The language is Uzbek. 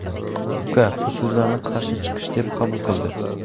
Uka bu so‘zlarni qarshi chiqish deb qabul qildi.